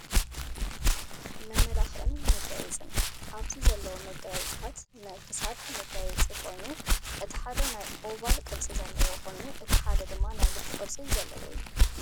መመላክዕን መጋየፅን፦ ኣብዚ ዘለው መጋየፅታት ናይ ክሳድ መጋየፂ ኮይኑ እቲ ሓደ ናይ ኦቫል ቅርፂ ዘለዎ ኮይኑ እቲ ሓደ ድማ ናይ ልቢ ቅርፂ ዘለዎ እዩ።